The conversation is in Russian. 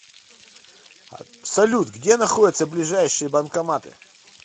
салют где находятся ближайшие банкоматы